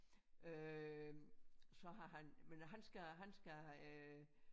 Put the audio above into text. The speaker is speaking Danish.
Øh så har han men han skal han skal øh